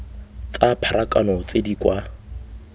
tsa pharakano tse di kwa